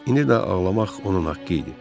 İndi də ağlamaq onun haqqı idi.